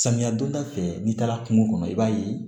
Samiya donda fɛ n'i taara kungo kɔnɔ i b'a ye